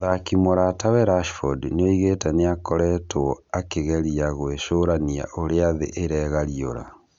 Mũthaki mũratawe Rashford nĩoigĩte nĩakoretwo "akĩgeria gwĩcũrania ũrĩa thĩ ĩregarĩũra"